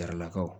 Karalakaw